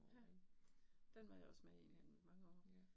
Ja. Den var jeg også med i i mange år